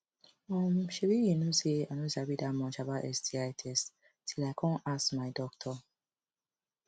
um shebi u know say i no sabi that much about sti test till i come ask my doctor